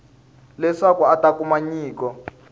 leswaku a ta kuma nyiko